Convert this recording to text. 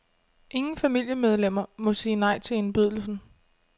Ingen familiemedlemmer må sige nej til indbydelsen.